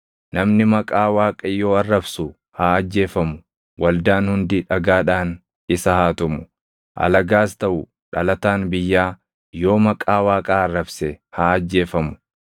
namni Maqaa Waaqayyoo arrabsu haa ajjeefamu. Waldaan hundi dhagaadhaan isa haa tumu. Alagaas taʼu dhalataan biyyaa yoo Maqaa Waaqaa arrabse haa ajjeefamu.